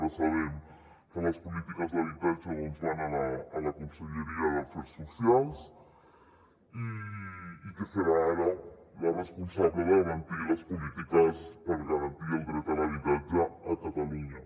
ara sabem que les polítiques d’habitatge doncs van a la conselleria d’afers socials que serà ara la responsable de garantir les polítiques per garantir el dret a l’habitatge a catalunya